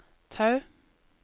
Tau